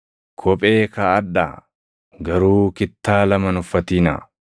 Kophee kaaʼadhaa; garuu kittaa lama hin uffatinaa.